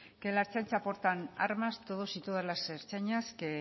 que en la ertzaintza portan armas todos y todas las ertzainas que